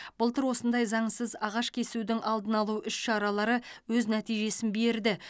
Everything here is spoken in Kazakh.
былтыр осындай заңсыз ағаш кесудің алдын алу іс шаралары өз нәтижесін берді